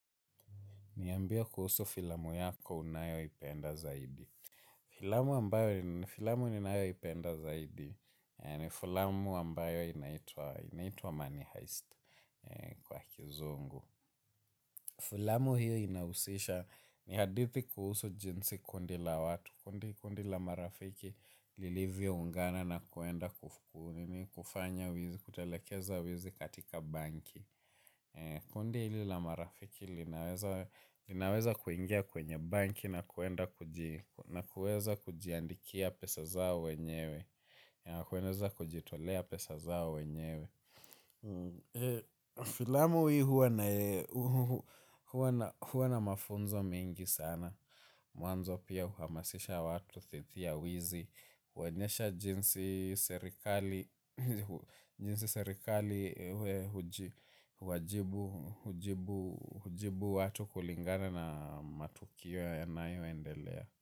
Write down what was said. Niambie kuhusu filamu yako unayo ipenda zaidi. Filamu ambayo ni filamu ninayo ipenda zaidi ni filamu ambayo inaitua money heist kwa kizungu. Filamu hiyo inausisha ni hadithi kuhusu jinsi kundi la watu kundi kundi la marafiki lilivyo ungana na kuenda kufukuni ni kufanya wizi kutalekeza wizi katika banki. Kundi hili la marafiki linaweza kuingia kwenye banki na kuweza kujiandikia pesa zao wenyewe. Kuweza kujitolea pesa zao wenyewe. Filamu hii huwa na mafunzo mengi sana. Mwanzo pia huamasisha watu dhidi ya wizi huonyesha jinsi jinsi serikali hujibu watu kulingana na matukio yanayoendelea.